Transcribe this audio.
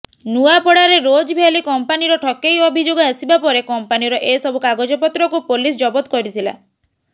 ନୂଆପଡ଼ାରେ ରୋଜଭ୍ୟାଲି କମ୍ପାନୀର ଠକେଇ ଅଭିଯୋଗ ଆସିବାପରେ କମ୍ପାନୀର ଏସବୁ କାଗଜପତ୍ରକୁ ପୋଲିସ ଜବତ କରିଥିଲା